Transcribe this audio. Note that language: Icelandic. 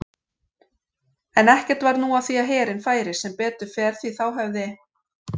En ekkert varð nú af því að herinn færi, sem betur fer því þá hefði